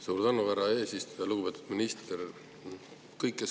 Suur tänu, härra eesistuja!